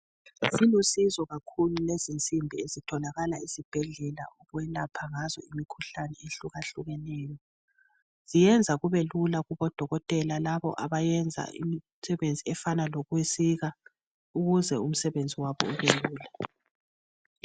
Zilolusizo kakhulu lezi nsimbi ezitholakala ezibhedlela ukwelapha ngazo imikhuhlane ehlukahlukeneyo. Ziyenza kube lula kubodokotela labo abayenza imisebenzi efana lokusika ukuze umsebenzi wabo ubelula.